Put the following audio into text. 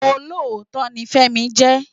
Ólótó ni Femi jè